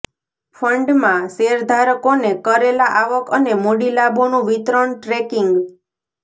ફંડમાં શેરધારકોને કરેલા આવક અને મૂડી લાભોનું વિતરણ ટ્રેકિંગ